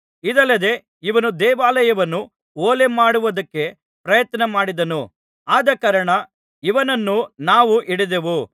ಇದಲ್ಲದೆ ಇವನು ದೇವಾಲಯವನ್ನು ಹೊಲೆಮಾಡುವುದಕ್ಕೆ ಪ್ರಯತ್ನಮಾಡಿದನು ಆದಕಾರಣ ಇವನನ್ನು ನಾವು ಹಿಡಿದೆವು